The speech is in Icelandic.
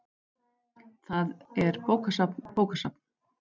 Þar er bókasafn bókasafn.